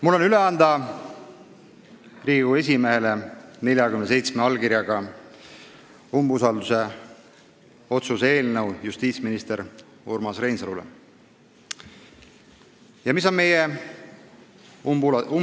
Mul on Riigikogu esimehele üle anda 47 allkirjaga eelnõu, justiitsminister Urmas Reinsalule umbusalduse avaldamise otsuse eelnõu.